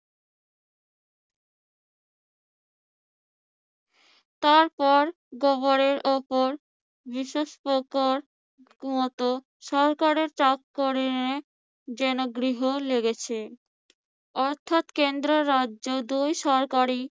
তারপর গোবরের উপর বিশেষ প্রকার মত সরকারি চাকরি নিয়ে যেনো গ্রহণ লেগেছে। অর্থাৎ কেন্দ্র ও রাজ্য দুই সরকারই